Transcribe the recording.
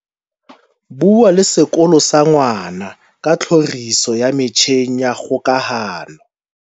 Bua le sekolo sa ngwana ka tlhoriso ya metjheng ya kgokahano.